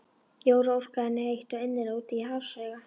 Jóra óskaði henni heitt og innilega út í hafsauga.